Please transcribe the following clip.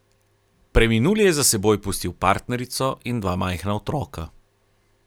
Preminuli je za seboj pustil partnerico in dva majhna otroka.